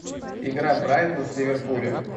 игра брайтон с ливерпулем